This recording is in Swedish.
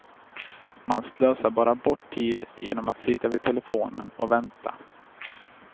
Man slösar bara bort tid genom att sitta vid telefonen och vänta.